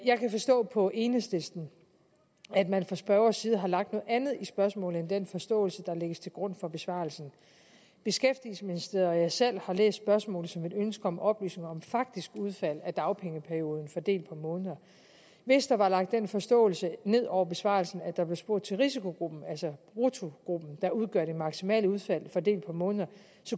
jeg kan forstå på enhedslisten at man fra spørgerens side har lagt noget andet i spørgsmålet end den forståelse der lægges til grund for besvarelsen beskæftigelsesministeriet og jeg selv har læst spørgsmålet som et ønske om oplysning om faktisk udfald af dagpengeperioden fordelt på måneder hvis der var lagt den forståelse ned over besvarelsen at der blev spurgt til risikogruppen altså bruttogruppen der udgør det maksimale udfald fordelt på måneder